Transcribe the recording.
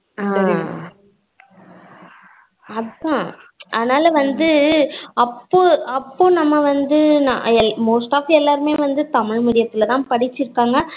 அஹ் அதான் அதனால வந்து அப்போ அப்போ நம்ம வந்து most off எல்லாருமே வந்து தமிழ் medium துலதான் வந்து படிச்சிருக்கங்க